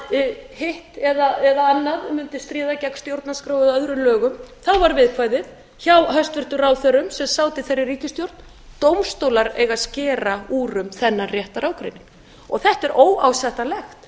að hitta eða annað mundi stríða gegn stjórnarskrá eða öðrum lögum þá var viðkvæðið hjá hæstvirtum ráðherrum sem sátu í þeirri ríkisstjórn dómstólar eiga að skera úr um þennan réttarágreining þetta er